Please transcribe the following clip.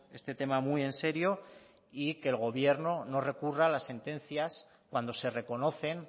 este tema muy en serio y que el gobierno no recurra las sentencias cuando se reconocen